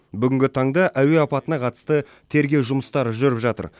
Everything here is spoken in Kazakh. бүгінгі таңда әуе апатына қатысты тергеу жұмыстары жүріп жатыр